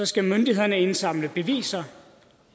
skal myndighederne indsamle beviser